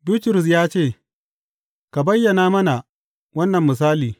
Bitrus ya ce, Ka bayyana mana wannan misali.